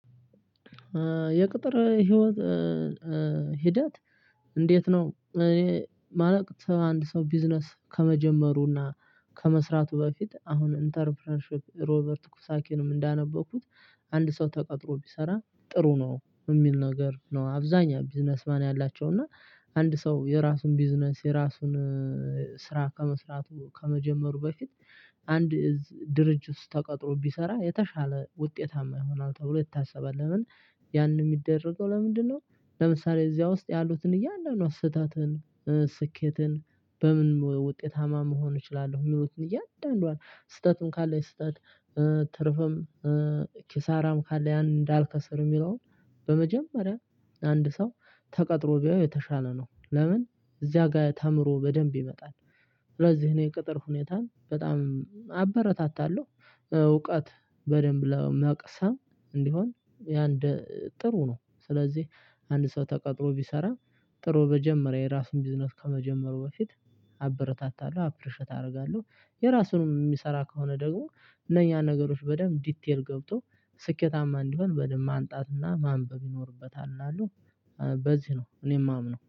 የቅጥር ህይወት ሂደት እንዴት ነው? እኔ ማለት ሰው አንድ ስው ቢዝነስ ከመጀመሩና ከመስራቱ በፊት አሁን ኢንተርፕረንሺፕ ሮበርት ኩሳኪንም እንዳነበኩት አንድ ሰው ተቀጥሮ ቢሰራ ጥሩ ነው የሚል ነገር ነው። አብዛኛው ቢዝነስ ማን ያላቸው እና አንድ ሰው የራሱን ቢዝነስ የራሱን ስራ ከመስራቱ ከመጀመሩ በፊት አንድ ድርጅት ተቀጥሮ ቢሰራ የተሻለ ውጤታማ ይሆናል ተብሎ ይታሰባል። ለምን ያንን የሚደረገው ለምንድነው? ለምሳሌ እዚያ ውስጥ ያሉትን እያንዳንዱን ስህተትን ስኬትን በምን ውጤታማ መሆን እችላለሁ የሚሉትን እያንዳንዷን ስህተትን ካለች ስህተት ትርፍም ኪሳራም ካለ ያን እንዳልከስር የሚለውን በመጀመሪያ አንድ ሰው ተቀጥሮ ቢያዩ የተሻለ ነው። ለምን እዚያ ጋር ተምሮ በደንብ ይመጣል። ለዚህ እኔ ቅጥር ሁኔታን በጣም አበረታታለሁ። እውቀት በደንብ ለመቅሰም እንዲሆን ያንድ ጥሩ ነው። ስለዚህ አንድ ሰው ተቀጥሮ ቢሰራ ጥሩ በጀመረ የራሱን ቢዝነስ ከመጀመሩ በፊት አበረታታለሁ አፕሪሸት አደርጋለሁ። የራሱንም የሚሰራ ከሆነ ደግሞ እነኛ ነገሮች በደንብ ዲቴል ገብቶ ስኬታማ እንዲሆን በደንብ ማንጣትና ማንበብ ይኖርበታል እላለው። በዚህ ነው እኔ የማምነው